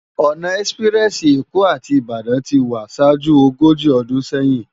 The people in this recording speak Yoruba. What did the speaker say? Òná èspirèsi Ékó áti Ibadan ti wá ṣájú ógóji ódún séyin